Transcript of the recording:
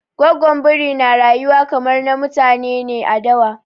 Gwaggon Biri na rayuwa kamar na mutane ne a dawa.